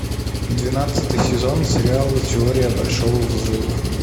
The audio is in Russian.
двенадцатый сезон сериала теория большого взрыва